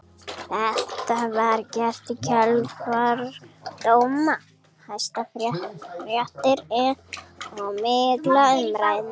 Þetta var gert í kjölfar dóma Hæstaréttar og mikilla umræðna.